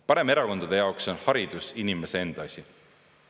Paremerakondade jaoks on haridus inimese enda asi.